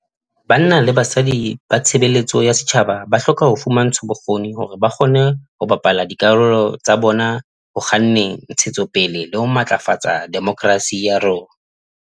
Banna le basadi ba tshebe letso ya setjhaba ba hloka ho fumantshwa bokgoni hore ba kgone ho bapala dikarolo tsa bona ho kganneng ntshe tsopele le ho matlafatsa de mokrasi ya rona.